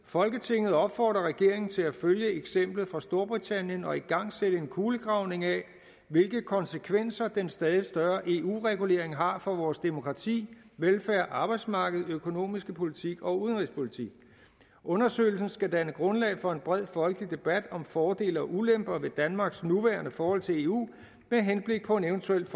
folketinget opfordrer regeringen til at følge eksemplet fra storbritannien og igangsætte en kulegravning af hvilke konsekvenser den stadigt større eu regulering har for vores demokrati velfærd arbejdsmarked økonomiske politik og udenrigspolitik undersøgelsen skal danne grundlag for en bred folkelig debat om fordele og ulemper ved danmarks nuværende forhold til eu med henblik på en eventuel